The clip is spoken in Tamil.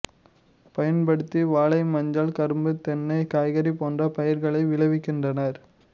பயன்படுத்தி வாழை மஞ்சள் கரும்பு தென்னை காய்கறி போன்ற பயிர்களை விளைவிக்கின்றனர்